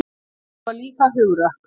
Ég var líka hugrökk.